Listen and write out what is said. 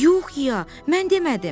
Yox, İya, mən demədim.